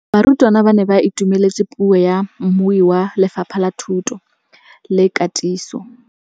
Barutabana ba ne ba itumeletse puô ya mmui wa Lefapha la Thuto le Katiso.